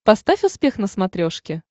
поставь успех на смотрешке